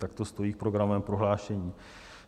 Tak to stojí v programovém prohlášení.